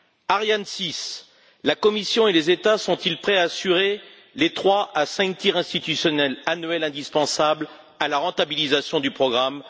Ariane 6 la Commission et les États sont ils prêts à assurer les trois à cinq tirs institutionnels annuels indispensables à la rentabilisation du programme?